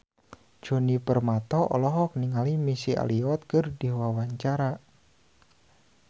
Djoni Permato olohok ningali Missy Elliott keur diwawancara